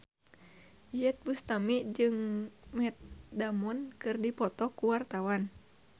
Iyeth Bustami jeung Matt Damon keur dipoto ku wartawan